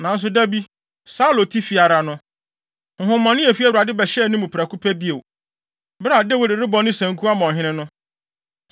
Nanso da bi, Saulo te fi ara no, honhommɔne a efi Awurade bɛhyɛɛ ne mu prɛko pɛ bio. Bere a Dawid rebɔ ne sanku ama ɔhene no,